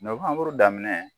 Nohanburu daminɛ